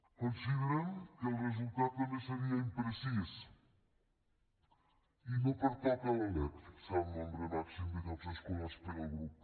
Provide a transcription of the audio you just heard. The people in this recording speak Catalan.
considerem que el resultat també seria imprecís i no pertoca a la lec fixar el nombre màxim de llocs escolars per al grup